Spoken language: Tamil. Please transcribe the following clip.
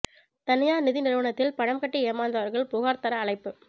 தனியார் நிதி நிறுவனத்தில் பணம் கட்டி ஏமாந்தவர்கள் புகார் தர அழைப்பு